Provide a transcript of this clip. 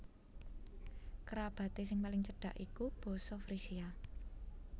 Kerabaté sing paling cedak iku basa Frisia